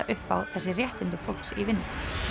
upp á þessi réttindi fólks í vinnu